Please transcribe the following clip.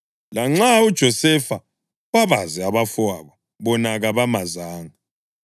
Lanxa uJosefa wabazi abafowabo, bona kabamazanga.